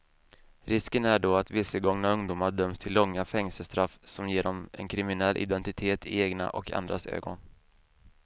Risken är då att vilsegångna ungdomar döms till långa fängelsestraff som ger dem en kriminell identitet i egna och andras ögon.